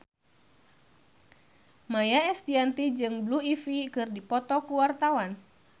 Maia Estianty jeung Blue Ivy keur dipoto ku wartawan